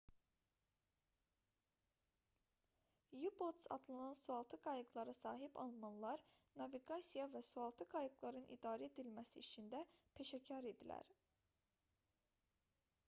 u-boats adlanan sualtı qayıqlara sahib almanlar naviqasiya və sualtı qayıqların idarə edilməsi işində peşəkar idilər